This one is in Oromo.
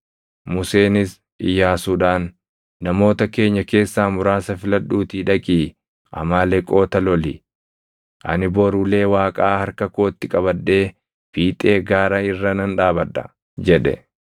Museenis Iyyaasuudhaan, “Namoota keenya keessaa muraasa filadhuutii dhaqii Amaaleqoota loli. Ani bor ulee Waaqaa harka kootti qabadhee fiixee gaara irra nan dhaabadha” jedhe.